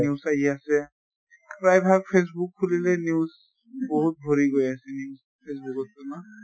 news আহি আছে, প্ৰায় ভাগ facebook খুলিলেই news, বহুত ভৰি গৈ আছে news facebook তো ন?